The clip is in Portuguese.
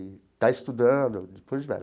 E está estudando, depois de velha.